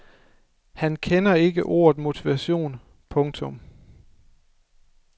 Han kender ikke ordet motivation. punktum